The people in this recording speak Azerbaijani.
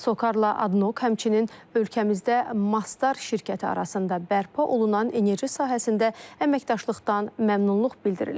Sokarla, Adnok, həmçinin ölkəmizdə Mastar şirkəti arasında bərpa olunan enerji sahəsində əməkdaşlıqdan məmnunluq bildirilib.